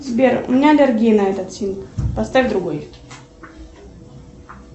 сбер у меня аллергия на этот фильм поставь другой